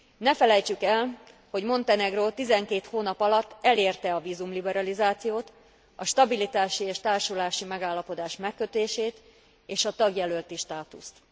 Ne felejtsük el, hogy Montenegró 12 hónap alatt elérte a vízumliberalizációt, a stabilitási és társulási megállapodás megkötését és a tagjelölti státuszt.